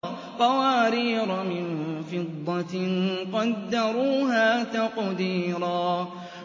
قَوَارِيرَ مِن فِضَّةٍ قَدَّرُوهَا تَقْدِيرًا